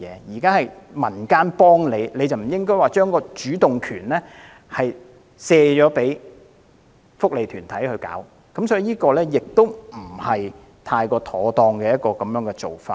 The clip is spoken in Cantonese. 現在是民間幫助漁護署，該署不應把主動權推卸給福利團體，這不是太妥當的做法。